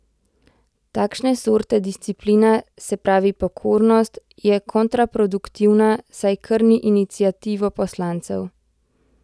Takšne sorte disciplina, se pravi pokornost, je kontraproduktivna, saj krni iniciativo poslancev.